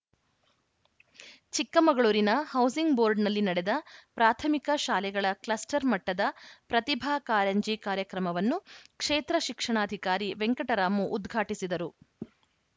ಚಿಕ್ಕಮಗಳೂರಿನ ಹೌಸಿಂಗ್‌ ಬೋರ್ಡ್‌ನಲ್ಲಿ ನಡೆದ ಪ್ರಾಥಮಿಕ ಶಾಲೆಗಳ ಕ್ಲಸ್ಟರ್‌ ಮಟ್ಟದ ಪ್ರತಿಭಾ ಕಾರಂಜಿ ಕಾರ್ಯಕ್ರಮವನ್ನು ಕ್ಷೇತ್ರ ಶಿಕ್ಷಣಾಧಿಕಾರಿ ವೆಂಕಟರಾಮು ಉದ್ಘಾಟಿಸಿದರು